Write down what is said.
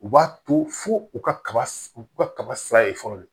U b'a to fo u ka kaba u ka kaba sira ye fɔlɔ de